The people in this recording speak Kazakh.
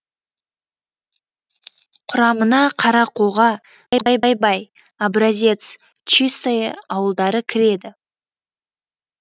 құрамына қарақоға ай бай бай бай образец чистое ауылдары кіреді